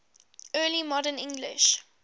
early modern english